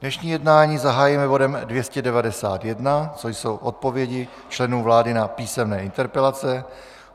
Dnešní jednání zahájíme bodem 291, což jsou odpovědi členů vlády na písemné interpelace.